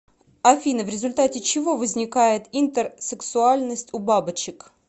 афина в результате чего возникает интерсексуальность у бабочек